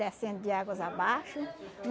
Descendo de águas abaixo.